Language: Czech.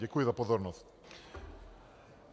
Děkuji za pozornost.